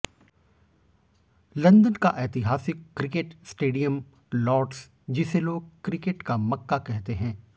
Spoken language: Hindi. लंदन का ऐतिहासिक क्रिकेट स्टेडियम लॉर्ड्स जिसे लोग क्रिकेट का मक्का कहते हैं